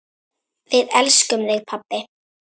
Við elskum þig pabbi.